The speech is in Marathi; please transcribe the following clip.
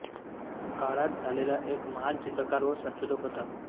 काळात झालेला एक महान चित्रकार व संशोधक होता